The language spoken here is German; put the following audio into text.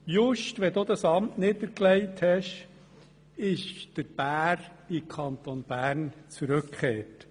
Just da du im Begriff bist, dieses Amt niederzulegen, ist der Bär in den Kanton Bern zurückgekehrt.